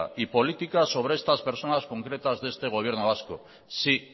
y política sobre estas personas concretas de este gobierno vasco sí